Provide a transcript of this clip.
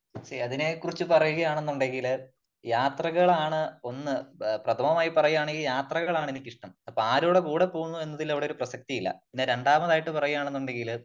പക്ഷേ അതിനെ കുറിച്ച് പറയുകയാണെന്നുണ്ടെങ്കില് യാത്രകളാണ് ഒന്ന് പ്രഥമമായി പറയുകയാണെങ്കിൽ ഈ യാത്രകളാണ് എനിക്കിഷ്ടം . അപ്പോ ആരുടെ കൂടെ പോകുന്നു എന്നതിൽ അവിടെ ഒരു പ്രസക്തി ഇല്ല . പിന്നെ രണ്ടാമതായിട്ട് പറയുകയാണെന്നുണ്ടെങ്കില്